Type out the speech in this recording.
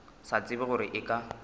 sa tsebe gore e ka